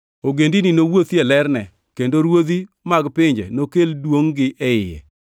Ogendini nowuothi e lerne, kendo ruodhi mag pinje nokel duongʼ-gi e iye.